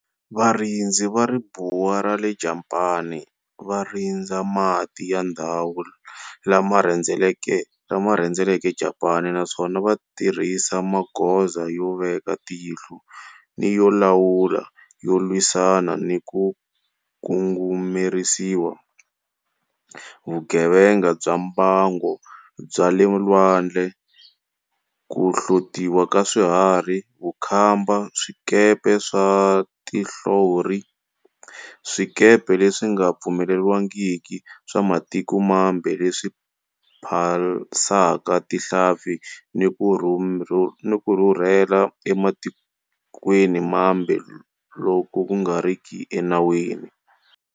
Varindzi va Ribuwa ra le Japani va rindza mati ya ndhawu lama rhendzeleke Japani naswona va tirhisa magoza yo veka tihlo ni yo lawula yo lwisana ni ku ngungumerisa, vugevenga bya mbango bya le lwandle, ku hlotiwa ka swiharhi, vukhamba, swikepe swa tinhlori, swikepe leswi nga pfumeleriwangiki swa matiko mambe leswi phasaka tinhlampfi ni ku rhurhela ematikweni mambe loku nga riki enawini.